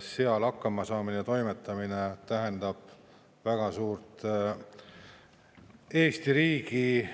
Seal hakkama saamine ja toimetamine tähendab väga suurt Eesti riigi